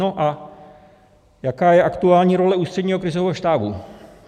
No a jaká je aktuální role Ústředního krizového štábu?